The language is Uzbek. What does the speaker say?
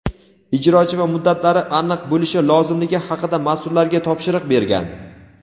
ijrochi va muddatlari aniq bo‘lishi lozimligi haqida mas’ullarga topshiriq bergan.